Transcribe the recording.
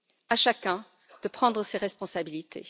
À chacun de prendre ses responsabilités.